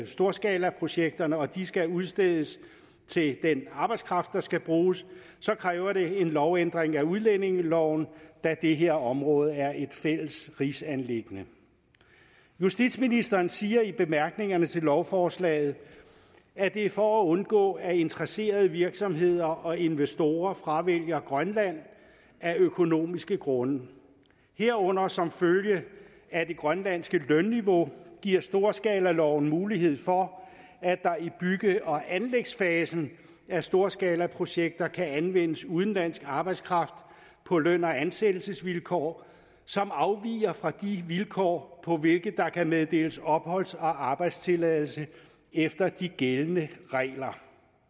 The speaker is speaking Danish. storskalaprojekterne og de skal udstedes til den arbejdskraft der skal bruges kræver det en lovændring af udlændingeloven da det her område er et fælles rigsanliggende justitsministeren siger i bemærkningerne til lovforslaget at det er for at undgå at interesserede virksomheder og investorer fravælger grønland af økonomiske grunde herunder som følge af det grønlandske lønniveau giver storskalaloven mulighed for at der i bygge og anlægsfasen af storskalaprojekter kan anvendes udenlandsk arbejdskraft på løn og ansættelsesvilkår som afviger fra de vilkår på hvilke der kan meddeles opholds og arbejdstilladelse efter de gældende regler